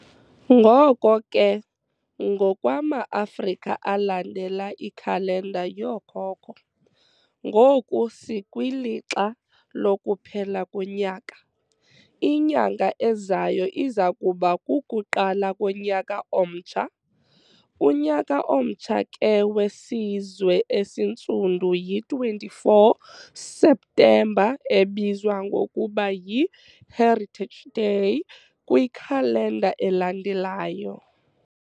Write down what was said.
Ngoko ke, ngokwama Afrika alandela ikhalenda yookhokho, ngoku sikwilixa lokuphela konyaka, inyanga ezayo iza kuba kukuqala konyaka omtsha, unyaka omtsha ke wesizwe esintsundu, yi 24 September ebizwa ngokuba yi 'Heritage Day' kwi khalenda elandelwayo.